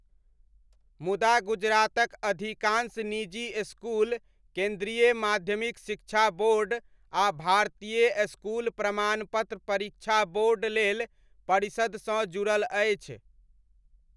मुदा गुजरातक अधिकांश निजी स्कूल केन्द्रीय माध्यमिक शिक्षा बोर्ड आ भारतीय स्कूल प्रमाणपत्र परीक्षा बोर्ड लेल परिषदसँ जुड़ल अछि।